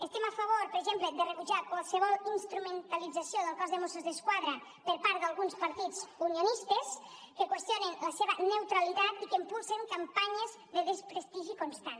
estem a favor per exemple de rebutjar qualsevol instrumentalització del cos de mossos d’esquadra per part d’alguns partits unionistes que qüestionen la seva neutralitat i que impulsen campanyes de desprestigi constant